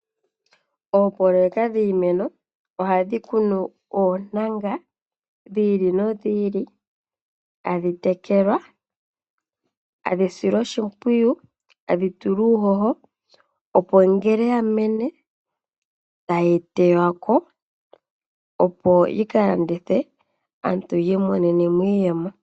Oopoloyeka dhiimeno ohadhi kunu oontanga dhi ili nodhi ili, tadhi tekelwa, tadhi silwa oshimpwiyu, tadhi tulwa uuhoho opo ngele ya mene tayi tewa ko, opo yi ka landithwe aantu yi imonene mo iiyemo.